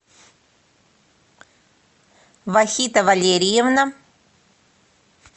вахита валерьевна